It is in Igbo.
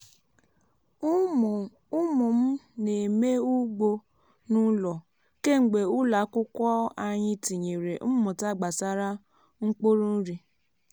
umu m na-eme ugbo n’ụlọ kemgbe ụlọ akwụkwọ anyị tinyere mmụta gbasara mkpụrụ nri.